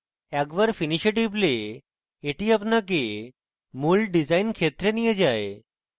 একবার finish এ টিপলে এটি আপনাকে মূল ডিসাইন ক্ষেত্রে নিয়ে যায়